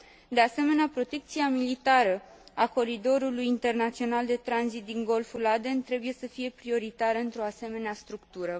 De asemenea, protecția militară a coridorului internațional de tranzit din Golful Aden trebuie să fie prioritară într o asemenea structură.